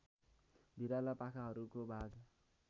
भिराला पाखाहरूको भाग